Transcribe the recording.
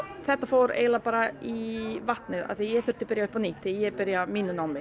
þetta fór eiginlega bara í vatnið því ég þurfti að byrja upp á nýtt þegar ég byrjaði á mínu námi